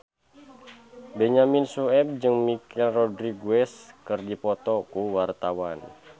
Benyamin Sueb jeung Michelle Rodriguez keur dipoto ku wartawan